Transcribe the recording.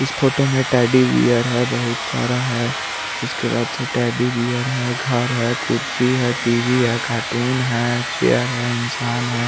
इस फोटो में teddy bear है बहुत सारा है उसके बाद से टेडी बेयर है घर है कुड्सी है टीवी है कार्टून है चेयर है इन्शान है।